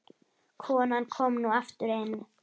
Konan kom nú aftur inn.